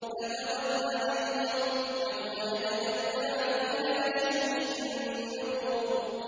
فَتَوَلَّ عَنْهُمْ ۘ يَوْمَ يَدْعُ الدَّاعِ إِلَىٰ شَيْءٍ نُّكُرٍ